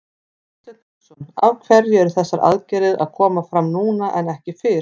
Hafsteinn Hauksson: Af hverju eru þessar aðgerðir að koma fram núna en ekki fyrr?